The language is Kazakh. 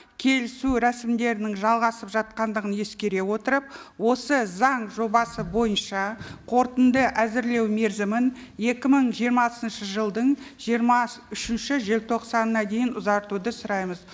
келісу рәсімдерінің жалғасып жатқандығын ескере отырып осы заң жобасы бойынша қорытынды әзірлеу мерзімін екі мың жиырмасыншы жылдың жиырма үшінші желтоқсанына дейін ұзартуды сұраймыз